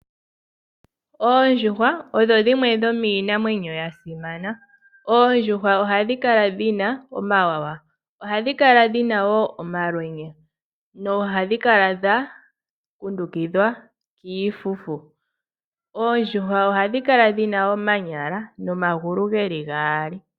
Oondjuhwa odho dhimwe dhomiinamwenyo ya simana. Oondjuhwa ohadhi kala dhi na omawawa ohadhi kala dhi na wo omalwenya nohadhi kala dha kundukidhwa kiifufu, oondjuhwa ohadhi kala dhi na omanyala nomagulu geli gaali.